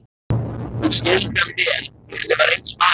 Hún skildi hann vel því henni var eins farið.